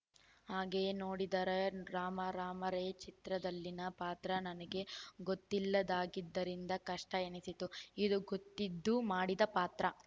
ಹಾಗೆ ನೋಡಿದರೆ ರಾಮಾ ರಾಮಾ ರೇ ಚಿತ್ರದಲ್ಲಿನ ಪಾತ್ರ ನನಗೆ ಗೊತ್ತಿಲ್ಲದಾಗಿದ್ದರಿಂದ ಕಷ್ಟಎನಿಸಿತ್ತು ಇದು ಗೊತ್ತಿದ್ದು ಮಾಡಿದ ಪಾತ್ರ